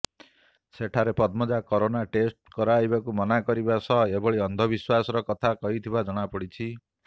ସେଠାରେ Padmaja corona test କରାଇବାକୁ ମନା କରିବା ସହ ଏଭଳି ଅନ୍ଧବିଶ୍ବାସର କଥା କହିଥିବା ଜଣାପଡ଼ିଛି